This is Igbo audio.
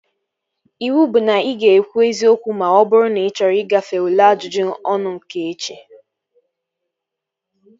Iwu bụ na ị ga-ekwu eziokwu ma ọ bụrụ na ị chọrọ igafe ule ajụjụ ọnụ nke echi!